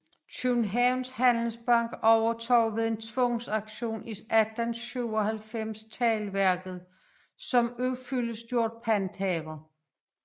Kjøbenhavns Handelsbank ovetog ved en tvangsauktion i 1897 teglværket som ufyldestgjort panthaver